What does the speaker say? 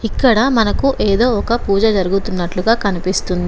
ఇక్కడ మనకు ఏదో ఒక పూజ జరుగుతున్నట్లుగా కనిపిస్తుంది.